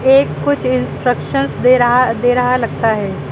ये कुछ इंस्ट्रक्शंस दे रहा दे रहा लगता है।